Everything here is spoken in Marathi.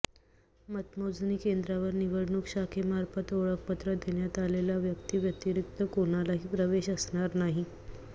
मतमोजणी केंद्रावर निवडणूक शाखेमार्फत ओळखपत्र देण्यात आलेल्या व्यक्ती व्यतिरिक्त कोणालाही प्रवेश असणार नाही